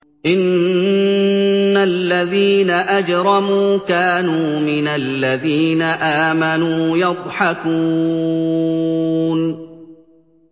إِنَّ الَّذِينَ أَجْرَمُوا كَانُوا مِنَ الَّذِينَ آمَنُوا يَضْحَكُونَ